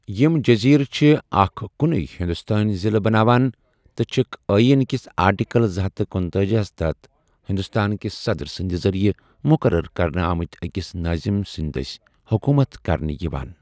یِم جزیٖرٕ چھِ اکھ کُنُے ہِندوستٲنۍ ضِلع بناوان، تہٕ چھکھ ٲیٖن کِس آرٹیکل زٕ ہَتھ تہٕ کنُتأجی ہس تحت ہِندوستان کہِ صدر سٕنٛدِ ذریعہٕ مُقرر کرنہٕ آمتہِ أکِس نٲظِم سٕنٛدِ دٔسۍ حُکوٗمت کرنہٕ یِوان۔